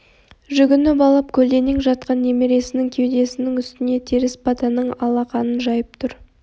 жүгініп алып көлденең жатқан немересінің кеудесінің үстіне теріс батаның алақанын жайып тұр